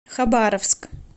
хабаровск